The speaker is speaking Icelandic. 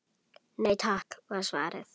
Nei takk var svarið.